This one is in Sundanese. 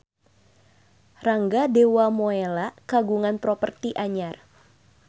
Rangga Dewamoela kagungan properti anyar